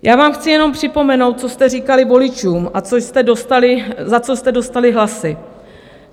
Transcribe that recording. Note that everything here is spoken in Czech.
Já vám chci jenom připomenout, co jste říkali voličům a za co jste dostali hlasy.